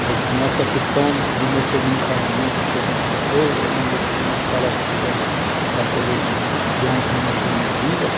Mas nessa questão do meu segundo casamento, que a gente sofreu, onde eu tive que parar de estudar para poder criar um rumo da minha vida.